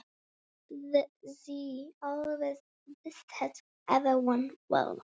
Hún vildi alltaf öllum vel.